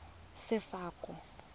sefako